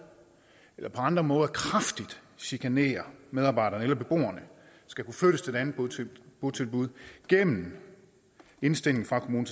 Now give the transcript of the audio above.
eller på andre måder kraftigt chikanerer medarbejdere eller andre beboere skal kunne flyttes til et andet botilbud botilbud gennem indstilling fra kommunen